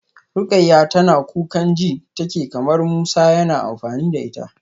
Rukayyah tana kukan ji take kamar Musa yana amfani da ita.